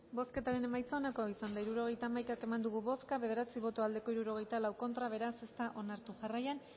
bozketaren emaitza onako izan da hirurogeita hamaika eman dugu bozka bederatzi boto aldekoa sesenta y cuatro contra beraz ez da onartu jarraian